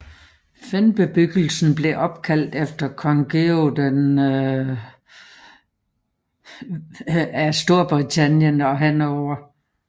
Fehnbebyggelsen blev opkaldt efter Kong Georg IV af Storbritannien og Hannover